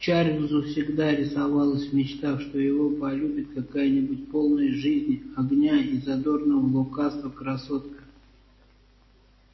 чарльзу всегда рисовалось в мечтах что его полюбит какая-нибудь полная жизни огня и задорного лукавства красотка